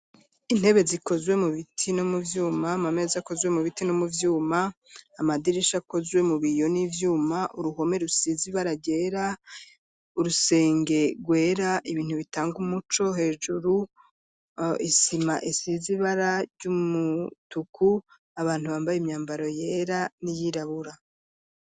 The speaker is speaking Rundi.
Intebe zikozwe mu biti no mu byuma, mamezi akozwe mu biti no mu byuma, amadirisha akozwe mu biyo n’ivyuma, uruhome rusizibara gera urusenge rwera ibintu bitanga umuco hejuru, isima esizibara ry'umutuku, abantu bambaye imyambaro yera n'iyirabura.